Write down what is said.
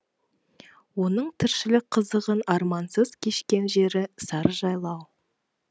оның тіршілік қызығын армансыз кешкен жері сарыжайлау